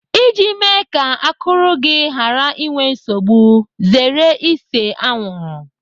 Iji mee ka akụrụ gị ghara inwe nsogbu, zere ise anwụrụ.